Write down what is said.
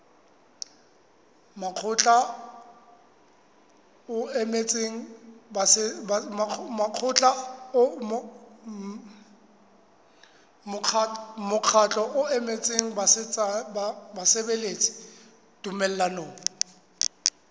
mokgatlo o emetseng basebeletsi tumellanong